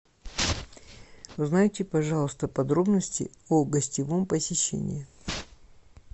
узнайте пожалуйста подробности о гостевом посещении